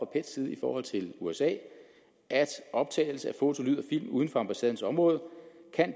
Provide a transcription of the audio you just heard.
pets side i forhold til usa at optagelse af foto lyd og film uden for ambassadens område